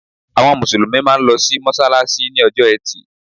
Àwọn Mùsùlùmí máa n lo sí mọ́sálásí ní ojó etì